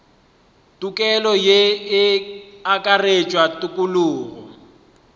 tokelo ye e akaretša tokologo